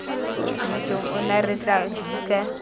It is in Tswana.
motseng ono re tla dika